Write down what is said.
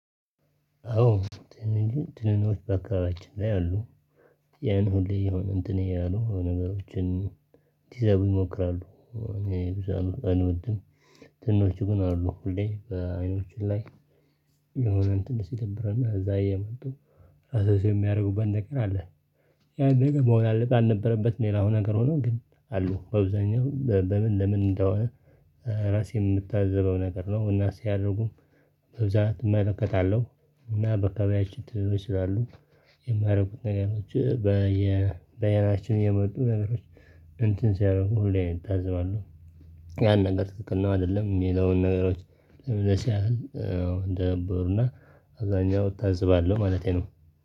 አዎ። ትንኞች በአካባቢያችን ላይ አሉ። ያን ሁሌ የሆነ እንትን ያሉ ነገሮችን ለዘጉ ይሞክራሉ እኔ ብዙ አልወድም። ትኖቹ ግን አሉ ሁሌ በአይኖች ላይ የሆነ ትንሽ ይተብረና እዛ የመጡ አሰስ የሚያደርጉበት ነገር አለ። ያ ነገር መሆን አለበት አልነበረበትም ሌላው ነገር ሆኖ ግን አሉ በአብዛኛው በምን ለምን እንደሆነ ራሴን የምታዘበው ነገር ነው እና ሲያደርጉም በብዛት እመለከታለሁ። እና በአካባቢያችን ትንኞች ስላሉ የሚያደርጉት ነገሮች በየ በአይናችን እየመጡ ነገሮች እንትን ሲያደርጉ ሁሌ እኔ እታዝባለሁ። ያን ነገር ትክክል ነው አይደለም እሚለውን ነገሮች ለምንስ ያህል እንደነበሩና አብዛኛው እታዝባለሁ ማለቴ ነው